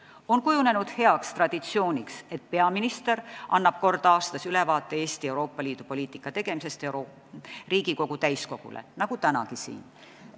On kujunenud heaks traditsiooniks, et peaminister annab kord aastas ülevaate Eesti Euroopa Liidu poliitika tegemisest Riigikogu täiskogule nagu tänagi siin.